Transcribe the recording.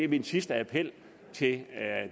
min sidste appel til